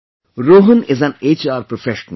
Rohan is an HR Professional